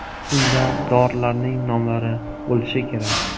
Unda dorilarning nomlari bo‘lishi kerak.